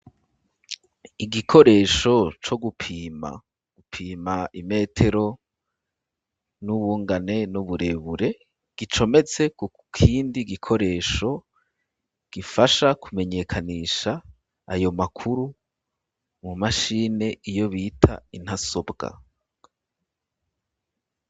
Igikoresho co gupima, Gupima imetero n'ubungane n'uburebure gicometse ku kindi gikoresho gifasha ku menyekanisha ayo makuru mu mashini iyo bita intasobwa